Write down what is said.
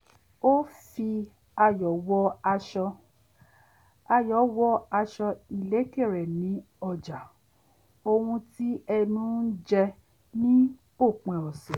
ó fi ayò̩ wọ aṣọ ayò̩ wọ aṣọ ìlékè re ní ọjà ohun tí ẹnu ń jẹ ní òpin ọ̀sẹ̀